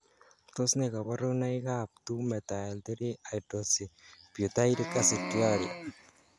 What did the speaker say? Tos nee koborunoikab 2 methyl 3 hydroxybutyric aciduria?